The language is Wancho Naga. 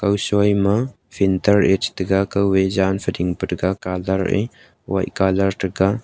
kuso ma filter a chataga kan aa jan aa fixting taiga colour aa white colour taga.